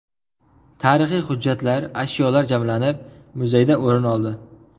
Tarixiy hujjatlar, ashyolar jamlanib, muzeydan o‘rin oldi.